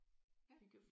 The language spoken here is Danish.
Ja